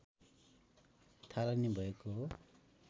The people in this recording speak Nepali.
थालनी भएको हो